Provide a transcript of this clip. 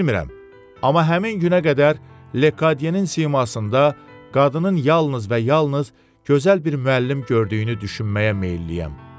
Bilirəm, amma həmin günə qədər Lekadiyenin simasında qadının yalnız və yalnız gözəl bir müəllim gördüyünü düşünməyə meylliyəm.